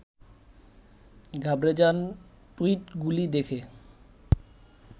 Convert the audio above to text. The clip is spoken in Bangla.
ঘাবড়ে যান টুইটগুলি দেখে